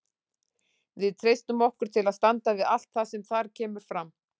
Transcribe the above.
Við treystum okkur til að standa við allt það sem þar kemur fram.